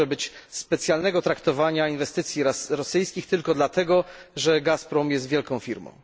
Nie może być specjalnego traktowania inwestycji rosyjskich tylko dlatego, że Gazprom jest wielką firmą.